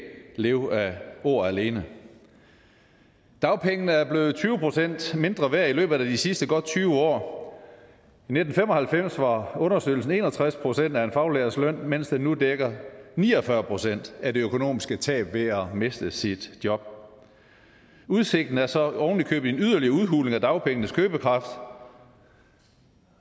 leve af ord alene dagpengene er blevet tyve procent mindre værd i løbet af de sidste godt tyve år i nitten fem og halvfems var understøttelsen på en og tres procent af en faglærts løn mens den nu dækker ni og fyrre procent af det økonomiske tab ved at miste sit job udsigten er så ovenikøbet en yderligere udhuling af dagpengenes købekraft